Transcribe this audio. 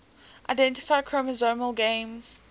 identify chromosomal gains